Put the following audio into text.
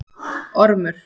Ormur